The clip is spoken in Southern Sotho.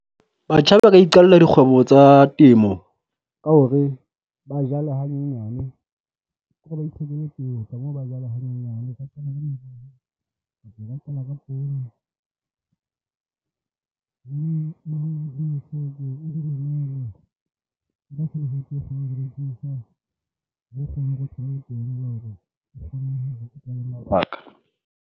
Batjha ba ka iqalla dikgwebo tsa temo ka hore ba jale hanyenyane